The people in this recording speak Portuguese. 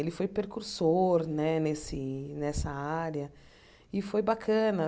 Ele foi percursor né nesse nessa área e foi bacana.